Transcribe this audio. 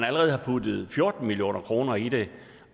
allerede er puttet fjorten million kroner i det